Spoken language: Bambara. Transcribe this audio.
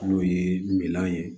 N'o ye minan ye